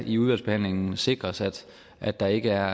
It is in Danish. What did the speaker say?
i udvalgsbehandlingen sikres at at der ikke er